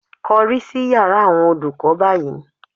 Kọrí sí yàrá àwọn olùkọ́ báyìí